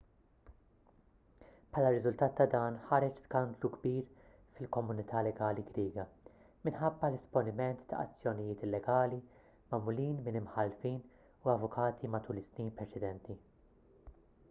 bħala riżultat ta' dan ħareġ skandlu kbir fil-komunità legali griega minħabba l-esponiment ta' azzjonijiet illegali magħmulin minn imħallfin u avukati matul is-snin preċedenti